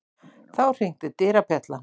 Þá hringdi dyrabjallan.